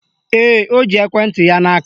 Ee, o ji ekwenti ya n'aka